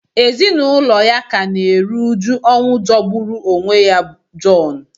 Ezinụlọ ya ka na-eru uju ọnwụ jọgburu onwe ya John